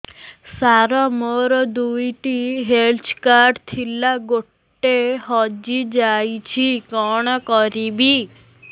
ସାର ମୋର ଦୁଇ ଟି ହେଲ୍ଥ କାର୍ଡ ଥିଲା ଗୋଟେ ହଜିଯାଇଛି କଣ କରିବି